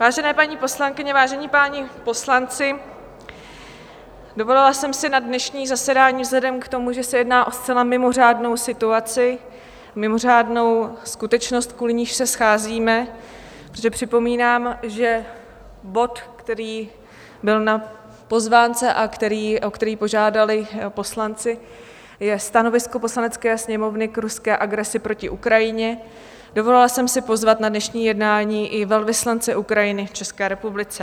Vážené paní poslankyně, vážení páni poslanci, dovolila jsem si na dnešní zasedání vzhledem k tomu, že se jedná o zcela mimořádnou situaci, mimořádnou skutečnost, kvůli níž se scházíme, protože připomínám, že bod, který byl na pozvánce a o který požádali poslanci je stanovisko Poslanecké sněmovny k ruské agresi proti Ukrajině, dovolila jsem si pozvat na dnešní jednání i velvyslance Ukrajiny v České republice.